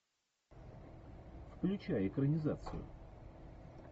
включай экранизацию